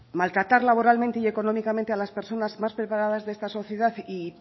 maltratar laboralmente y económicamente a las personas más preparadas de esta sociedad y